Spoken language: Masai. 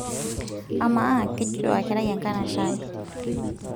amaa kejito aa enkerai enkanashe ai